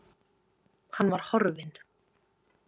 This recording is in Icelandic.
Hann var horfinn.